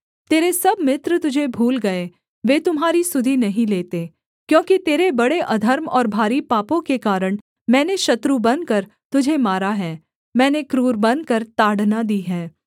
तेरे सब मित्र तुझे भूल गए वे तुम्हारी सुधि नहीं लेते क्योंकि तेरे बड़े अधर्म और भारी पापों के कारण मैंने शत्रु बनकर तुझे मारा है मैंने क्रूर बनकर ताड़ना दी है